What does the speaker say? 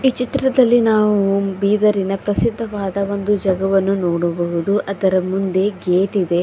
ಚಿತ್ರದಲ್ಲಿ ನಾವು ಬೀದರಿನ ಪ್ರಸಿದ್ಧವಾದ ಒಂದು ಜಗವನ್ನು ನೋಡಬಹುದು ಅದರ ಮುಂದೆ ಗೇಟ್ ಇದೆ.